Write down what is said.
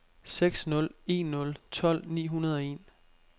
seks nul en nul tolv ni hundrede og en